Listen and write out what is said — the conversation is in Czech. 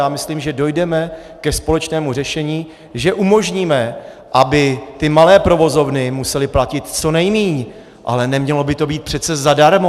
Já myslím, že dojdeme ke společnému řešení, že umožníme, aby ty malé provozovny musely platit co nejméně, ale nemělo by to být přece zadarmo.